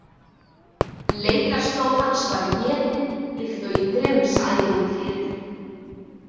Leitarslóð hans var étin líkt og í Grimmsævintýrinu.